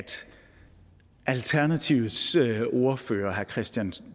alternativets ordfører herre christian